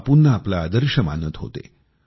ते बापूंना आपला आदर्श मानत होते